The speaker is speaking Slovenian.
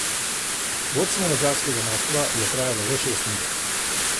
Vodstvo madžarskega moštva je trajalo le šest minut.